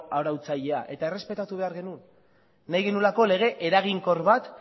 arautzailea eta errespetatu behar genuen nahi genuelako lege eraginkor bat